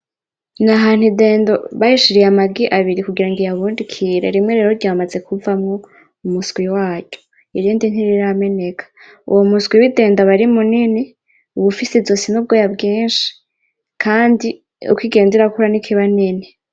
nI ahantu idendo bayishiriye amagi abiri kugirango iyabundikire, rimwe rero ryamaze kuvamwo umuswi waryo, irindi ntirirameneka, uwo muswi widendo aba ari munini uba ufise izosi nubwoya bwinshi, kandi uko igenda irakura niko iba nini.